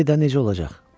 De də, necə olacaq?